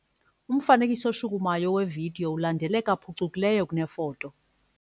Umfanekiso oshukumayo wevidiyo ulandeleka phucukileyo kunefoto.